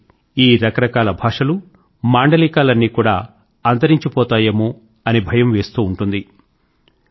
అయితే ఈ రకరకాల భాషలు మాండలీకాలన్నీ కూడా అంతరించిపోతాయేమో అని భయం వేస్తూ ఉంటుంది